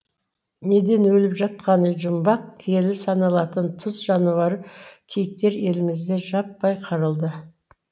неден өліп жатқаны жұмбақ киелі саналатын тұз жануары киіктер елімізде жаппай қырылды